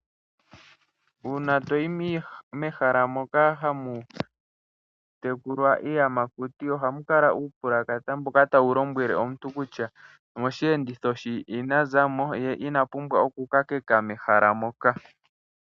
Uuna toyi mehala moka hamu tekulwa iiyamakuti ohamu kala uupulakata mboka tawu lombwele aantu kutya moshiyenditho she ina zamo ye ina pumbwa okukakeka mehala moka.